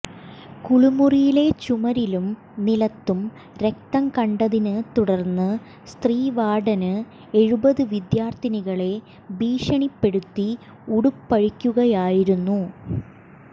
കുളിമുറിയിലെ ചുമരിലും നിലത്തും രക്തം കണ്ടതിനെ തുടര്ന്ന് സ്ത്രീവാര്ഡന് എഴുപത് വിദ്യാര്ഥികളെ ഭീഷണിപ്പെടുത്തി ഉടുപ്പഴിപ്പിക്കുകയായിരുന്നു